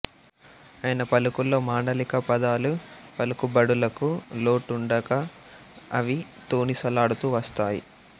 ఆయన పలుకుల్లో మాండలిక పదాలు పలుకుబడులకు లోటుండక అవి తొణిసలాడుతూ వస్తాయి